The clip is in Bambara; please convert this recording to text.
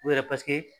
U yɛrɛ paseke